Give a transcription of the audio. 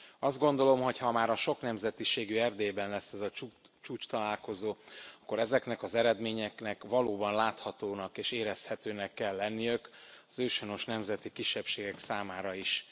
Azt gondolom, hogy ha már a soknemzetiségű Erdélyben lesz az a csúcstalálkozó, akkor ezeknek az eredményeknek valóban láthatónak és érezhető kell lenniük az őshonos nemzeti kisebbségek számára is.